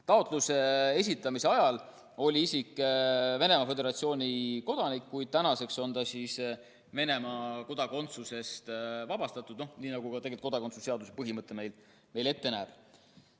Taotluse esitamise ajal oli isik Venemaa Föderatsiooni kodanik, kuid tänaseks on ta Venemaa kodakondsusest vabastatud, nii nagu kodakondsuse seaduse põhimõte meil ette näeb.